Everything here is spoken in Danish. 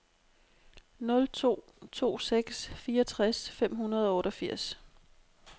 nul to to seks fireogtres fem hundrede og otteogfirs